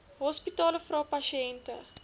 hospitale vra pasiënte